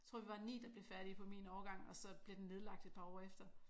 Tror vi var 9 der blev færdig på min årgang og så blev den nedlagt et par år efter